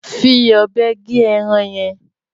Fi ọ̀bẹ gé ẹran yẹn.